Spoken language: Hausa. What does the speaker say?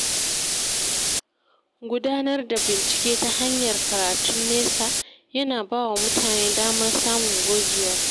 Gudanar da bincike ta hanyar karatun nesa yana ba wa mutane damar samun gogewa.